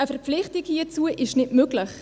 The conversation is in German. Eine Verpflichtung hierzu ist nicht möglich.